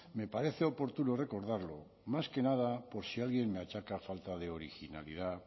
me parece oportuno recordarlo más que nada por si alguien me achaca falta de originalidad